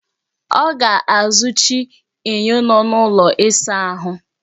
Ọ ga-azụchi enyo nọ n'ụlọ ịsa ahụ